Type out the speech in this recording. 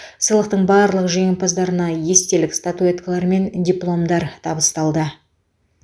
сыйлықтың барлық жеңімпаздарына естелік статуэткалар мен дипломдар табысталды